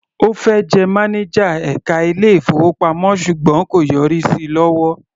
Ó fẹ́ jẹ mánájà ẹka ilé-ìfowópamọ́ ṣùgbọ́n kò yọrí sí lọ́wọ́.